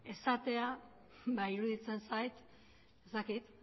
esatea ba iruditzen zait ez dakit